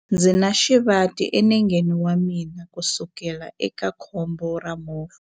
Ndzi na xivati enengeni wa mina kusukela eka khombo ra movha.